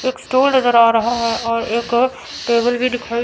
एक स्टूल नज़र आ रहा है और एक टेबल भी दिखा--